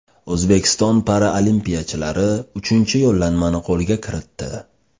O‘zbekiston paralimpiyachilari uchinchi yo‘llanmani qo‘lga kiritdi.